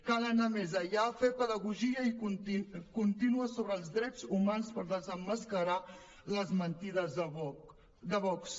cal anar més enllà fer pedagogia contínua sobre els drets humans per desemmascarar les mentides de vox